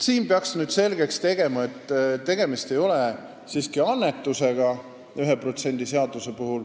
Siin peab selgeks tegema, et 1% seaduse puhul ei ole siiski tegemist annetusega.